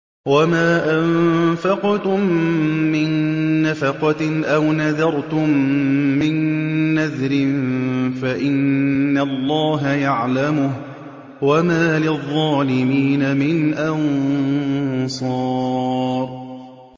وَمَا أَنفَقْتُم مِّن نَّفَقَةٍ أَوْ نَذَرْتُم مِّن نَّذْرٍ فَإِنَّ اللَّهَ يَعْلَمُهُ ۗ وَمَا لِلظَّالِمِينَ مِنْ أَنصَارٍ